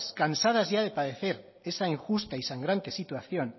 cansadas ya de padecer esa injusta y sangrante situación